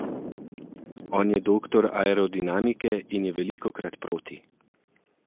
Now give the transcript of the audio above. On je doktor aerodinamike in je velikokrat proti.